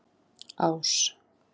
Ás